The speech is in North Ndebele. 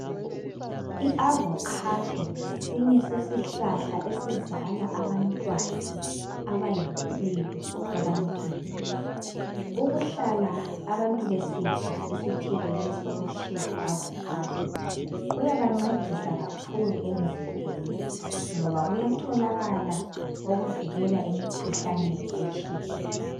Iavocado ngesinye sesihlahla esizala abantwana abayimpilo ebantwini. Ukuhlala abantu besidla isithelo lesi okuthiwa yi avocado kuyabancedisa kakhulu emzimbeni, ngoba kuyatholakala okuvikela emikhuhlaneni etshiyeneyo.